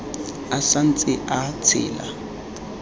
a sa ntse a tshela